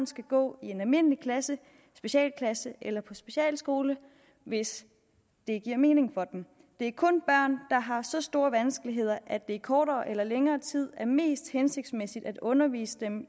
skal gå i en almindelig klasse specialklasse eller på specialskole hvis det giver mening for dem det er kun børn der har så store vanskeligheder at det i kortere eller længere tid er mest hensigtsmæssigt at undervise dem